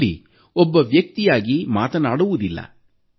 ಅಲ್ಲ್ಲಿ ಒಬ್ಬ ವ್ಯಕ್ತಿಯಾಗಿ ಮಾತನಾಡುವುದಿಲ್ಲ